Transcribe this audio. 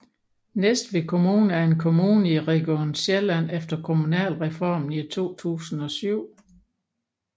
Næstved Kommune er en kommune i Region Sjælland efter Kommunalreformen i 2007